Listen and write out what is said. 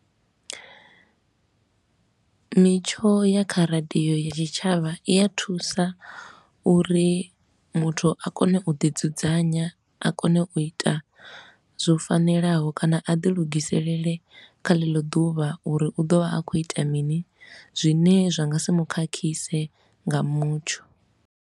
Mitsho ya kha radio ya tshitshavha i ya thusa uri muthu a kone u ḓi dzudzanya, a kone u i ita zwo fanelaho kana a ḓi lugiselele kha ḽeḽo ḓuvha uri u ḓovha a khou ita mini, zwine zwa nga si mu khakhise nga mutsho